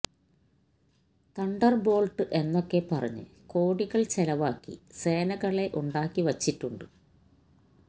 തണ്ടര് Boult എന്നൊക്കെ പറഞ്ഞ് കോടികള് ചെലവാക്കി സേനകളെ ഉണ്ടാക്കി വച്ചിട്ടുണ്ട്